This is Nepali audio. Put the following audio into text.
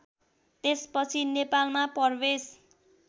त्यसपछि नेपालमा प्रवेश